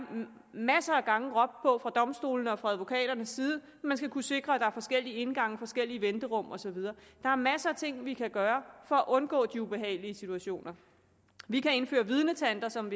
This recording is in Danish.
der masser af gange råbt på fra domstolenes og fra advokaternes side man skal kunne sikre at der er forskellige indgange og forskellige venterum og så videre der er masser af ting vi kan gøre for at undgå de ubehagelige situationer vi kan indføre vidnetanter som